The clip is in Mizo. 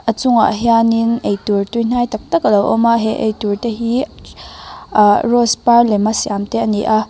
a chungah hianin eitur tui hnai taktak alo awm a he eitur te hi khi ah rose par lem a siam te ani a.